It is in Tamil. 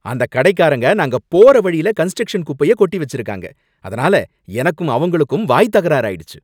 அந்தக் கடைக்காரங்க நாங்க போற வழில கன்ஸ்டரக்ஷன் குப்பையக் கொட்டி வச்சிருக்காங்க, அதனால எனக்கும் அவங்களுக்கும் வாய்த் தகராறு ஆயிடுச்சு